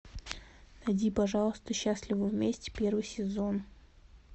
найди пожалуйста счастливы вместе первый сезон